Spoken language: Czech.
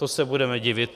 To se budeme divit.